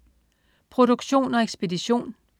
Produktion og ekspedition: